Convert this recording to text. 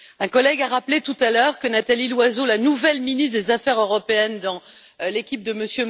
Un collègue a rappelé, tout à l'heure, que Nathalie Loiseau, la nouvelle ministre chargée des affaires européennes dans l'équipe de M.